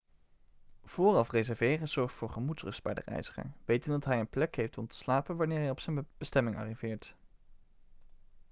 vooraf reserveren zorgt voor gemoedsrust bij de reiziger wetende dat hij een plek heeft om te slapen wanneer hij op zijn bestemming arriveert